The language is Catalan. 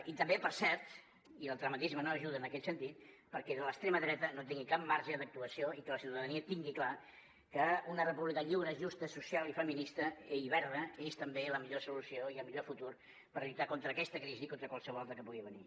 i també per cert i el tremendisme no ajuda en aquest sentit perquè l’extrema dreta no tingui cap marge d’actuació i que la ciutadania tingui clar que una república lliure justa social i feminista i verda és també la millor solució i el millor futur per lluitar contra aquesta crisi i contra qualsevol altra que pugui venir